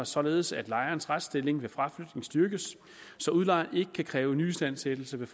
således at lejerens retsstilling ved fraflytning styrkes så udlejeren ikke kan kræve nyistandsættelse ved